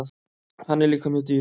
Hann er líka mjög dýr.